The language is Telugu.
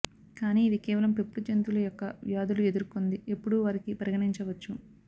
కానీ ఇది కేవలం పెంపుడు జంతువులు యొక్క వ్యాధులు ఎదుర్కొంది ఎప్పుడూ వారికి పరిగణించవచ్చు